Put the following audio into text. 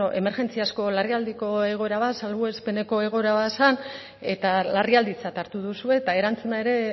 emergentziazko larrialdiko egoera bat salbuespeneko egoera bazen eta larrialditzat hartu duzue eta erantzuna ere